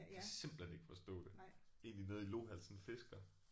Jeg kan simpelthen ikke forstå det. Det er egentlig nede i Lohals sådan en fisker